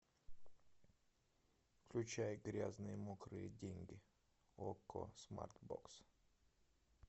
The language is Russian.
включай грязные мокрые деньги окко смарт бокс